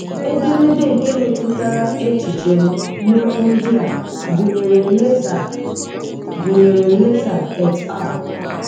Edemede nke metụtara echiche m n'okwu ndị a gụnyere Lazer a gụnyere Lazer et al.